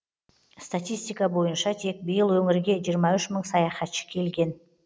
статистика бойынша тек биыл өңірге жиырма үш мың саяхатшы келген